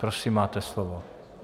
Prosím, máte slovo.